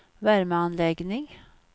värmeanläggning